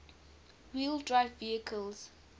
wheel drive vehicles